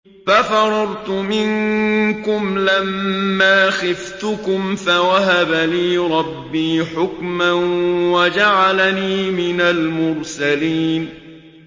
فَفَرَرْتُ مِنكُمْ لَمَّا خِفْتُكُمْ فَوَهَبَ لِي رَبِّي حُكْمًا وَجَعَلَنِي مِنَ الْمُرْسَلِينَ